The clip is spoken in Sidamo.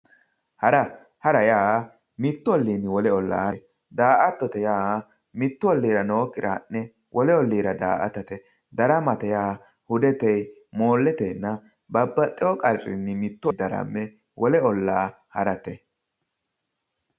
hara hara yaa mittu olliinni wole ollaa harate daa''atto yaa mittu olliira nookkire ha'ne wolu olliira daa'atate daramate yaa hudetenni moolletenninna babbaxewo qarrinni daramme wole ollaa harate.